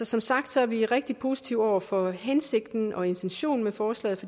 som sagt er vi rigtig positive over for hensigten og intentionen med forslaget